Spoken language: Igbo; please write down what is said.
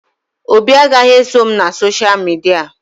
Obi agaghị eso m na sosha midia